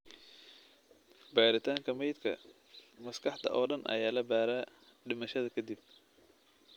Baaritaanka meydka, maskaxda oo dhan ayaa la baaraa dhimashada ka dib.